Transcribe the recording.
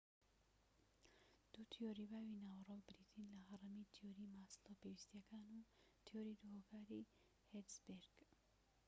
دوو تیۆری باوی ناوەڕۆک بریتین لە هەڕەمی تیۆری ماسلۆ پێویستیەکان و تیۆری دوو هۆکاری هێرتزبێرگ